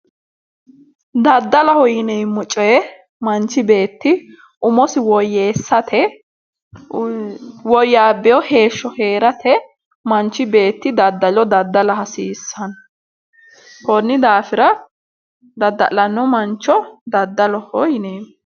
Daddaloho yineemo coyi manichi beetti umosi woyeesate wouyaabewo heesho herate manichi beetti daddalo daddala hasiisanno konni daafira dadda'lano manicho daddaloho yineemo